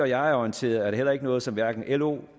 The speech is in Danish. jeg er orienteret er det heller ikke noget som hverken lo